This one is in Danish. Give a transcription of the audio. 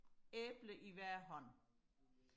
æble i hver hånd